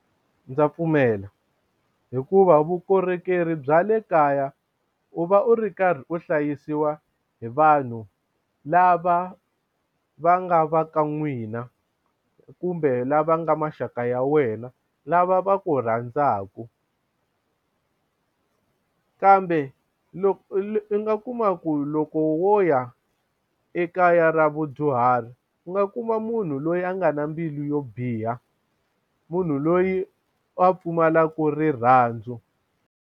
Ndza pfumela hikuva vukorhokeri bya le kaya u va u ri karhi u hlayisiwa hi vanhu lava va nga va ka n'wina kumbe lava nga maxaka ya wena lava va ku rhandzaka kambe u nga kuma ku loko wo ya ekaya ra vudyuhari u nga kuma munhu loyi a nga na mbilu yo biha munhu loyi a pfumalaku rirhandzu.